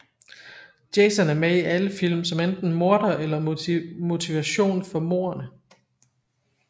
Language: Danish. Jason er med i alle film som enten morder eller motivation for mordene